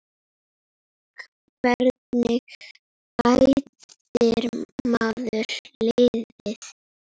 Hvernig bætir maður liðið?